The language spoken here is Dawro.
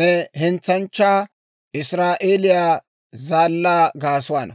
ne hentsanchchaa, Israa'eeliyaa Zaallaa gaasuwaana,